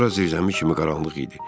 Ora zirzəmi kimi qaranlıq idi.